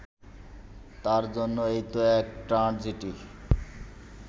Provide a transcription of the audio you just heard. তাঁর জন্য এ তো এক ট্র্যাজেডি